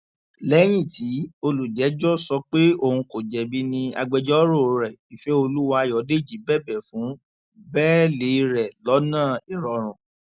lẹyìn tí olùjẹjọ sọ pé òun kò jẹbi ni agbẹjọrò rẹ ìfẹolúwà ayọdèjì bẹbẹ fún bẹẹlí rẹ lọnà ìrọrùn